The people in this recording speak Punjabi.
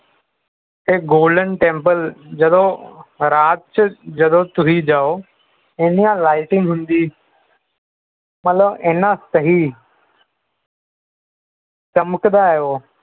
ਇਹ golden temple ਜਦੋਂ ਰਾਤ ਚ ਜਦੋ ਤੁਸੀਂ ਜਾਓ ਇੰਨੀਆਂ lighting ਹੁੰਦੀ ਮਤਲਬ ਇਹਨਾਂ ਸਹੀ ਚਮਕਦਾ ਹੈ ਉਹ